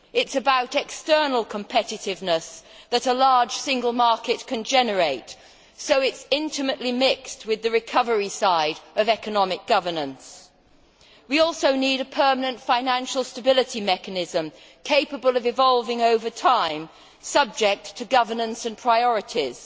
It is about the external competitiveness that a large single market can generate, so it is intimately mixed with the recovery side of economic governance. We also need a permanent financial stability mechanism capable of evolving over time, subject to governance and priorities.